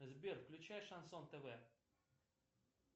сбер включай шансон тв